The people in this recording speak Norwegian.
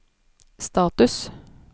status